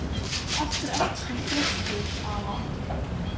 Af hverju ertu svona þrjóskur, Ava?